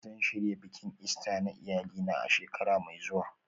Zan shirya bikin Ista na iyalina a shekara mai zuwa